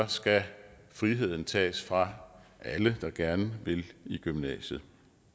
skal friheden tages fra alle der gerne vil i gymnasiet